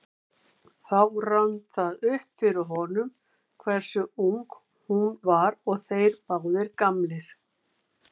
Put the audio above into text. Þá rann það upp fyrir honum hversu ung hún var og þeir báðir gamlir.